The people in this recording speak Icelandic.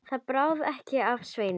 Það bráði ekki af Sveini.